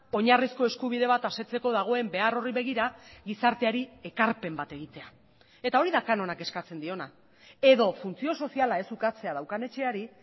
oinarrizko eskubide bat asetzeko dagoen behar horri begira gizarteari ekarpen bat egitea eta hori da kanonak eskatzen diona edo funtzio soziala ez ukatzea daukan etxeari